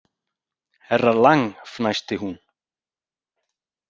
Herra Lang fnæsti hún.